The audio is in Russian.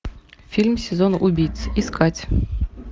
фильм сезон убийц искать